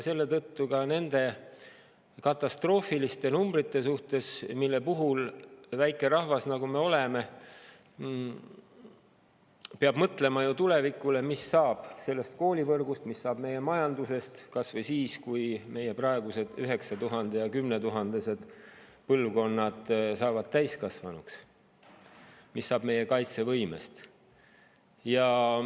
Seetõttu ka nende katastroofiliste numbrite puhul väike rahvas, nagu me oleme, peab mõtlema tulevikule ja sellele, mis saab koolivõrgust, mis saab meie majandusest, kas või siis, kui meie praegused üheksa‑ ja kümnetuhandelised põlvkonnad saavad täiskasvanuks, ning mis saab meie kaitsevõimest.